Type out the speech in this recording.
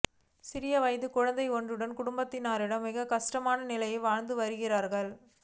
சிறிய வயது குழந்தை ஒன்றுடன் குடும்பத்தினர் மிகவும் கஷ்டமான நிலையில் வாழ்ந்து வருகின்றார்கள்